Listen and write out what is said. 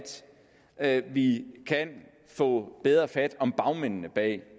at vi kan få bedre fat om bagmændene bag